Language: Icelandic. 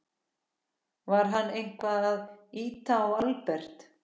Var hann eitthvað að ýta á Albert?